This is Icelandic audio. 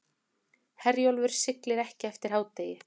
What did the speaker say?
Herjólfur siglir ekki eftir hádegi